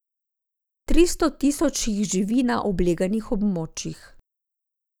Tristo tisoč jih živi na obleganih območjih.